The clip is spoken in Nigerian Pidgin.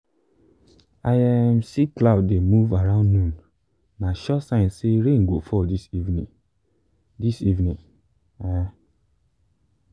i um see cloud dey move around noon na sure sign say rain go fall this evening. this evening. um